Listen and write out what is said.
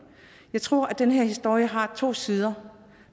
jeg tror at den her historie har to sider